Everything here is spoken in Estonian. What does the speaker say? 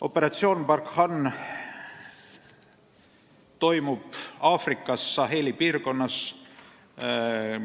Operatsioon Barkhane toimub Aafrikas Saheli piirkonnas.